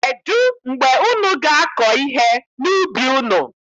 Kedụ mgbe unu ga-akọ ihe n'ubi unu?